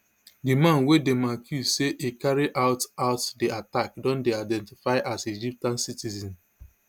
di man wey dem accuse say e carry out out di attack don dey identified as egyptian citizen